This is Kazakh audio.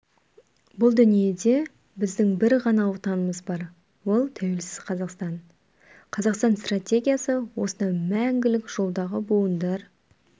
бұл дүниеде біздің бір ғана отанымыз бар ол тәуелсіз қазақстан қазақстан стратегиясы осынау мәңгілік жолдағы буындар